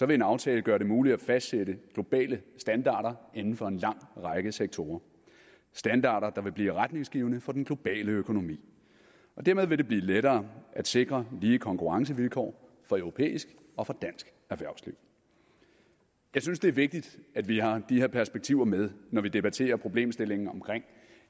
vil en aftale gøre det muligt at fastsætte globale standarder inden for en lang række sektorer standarder der vil blive retningsgivende for den globale økonomi dermed vil det blive lettere at sikre lige konkurrencevilkår for europæisk og for dansk erhvervsliv jeg synes det er vigtigt at vi har de her perspektiver med når vi debatterer problemstillingen omkring